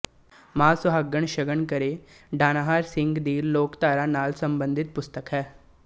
ਮਾਂ ਸੁਹਾਗਣ ਸ਼ਗਨ ਕਰੇ ਡਾਨਾਹਰ ਸਿੰਘ ਦੀ ਲੋਕਧਾਰਾ ਨਾਲ ਸੰਬੰਧਿਤ ਪੁਸਤਕ ਹੈ